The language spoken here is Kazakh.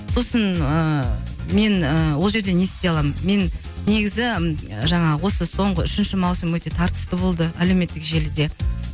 сосын ыыы мен ол жерде не істей аламын мен негізі жаңағы осы соңғы үшінші маусым өте тартысты болды әлеуметтік желіде